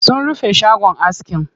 Sun rufe shagon askin.